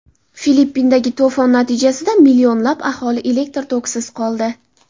Filippindagi to‘fon natijasida millionlab aholi elektr tokisiz qoldi.